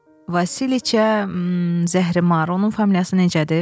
Vasiliça, zəhrimar, onun familiyası necədir?